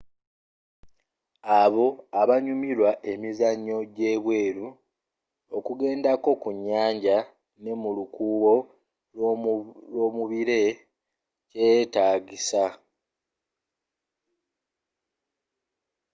abo abanyumirwa emizanyo jje bweru ,okugendako ku nyanja ne mulukuubo lwomubire kyetaagisa